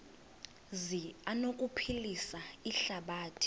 zi anokuphilisa ihlabathi